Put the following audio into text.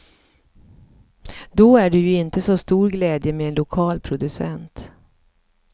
Då är det ju inte så stor glädje med en lokal producent.